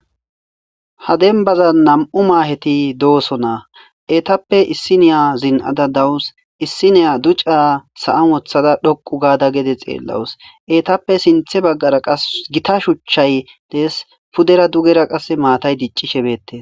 Ha denbazan nam'u maheti dossona etappe issiniya zin'da daws issiniya ducca dhoqu othada gede xelaws etappe sinthe bagara gita shuchay dees sinthabagara matay dicishe bettes.